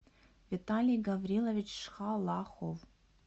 виталий гаврилович шхалахов